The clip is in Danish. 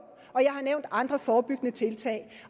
og jeg har nævnt andre forebyggende tiltag